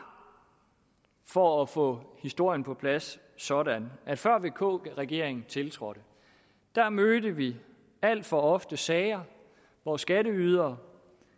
for at få historien på plads sådan at før vk regeringen tiltrådte mødte vi alt for ofte sager hvor skatteydere